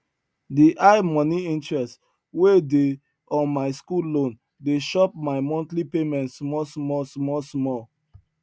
the high money interest wey dey on my school loan dey chop my monthly payment small small small small